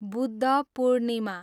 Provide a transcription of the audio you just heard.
Buddha Purnima